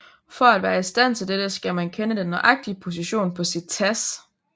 For at være i stand til dette skal man kende den nøjagtige position på sit TASS